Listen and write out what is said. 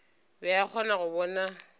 be a kgona go bona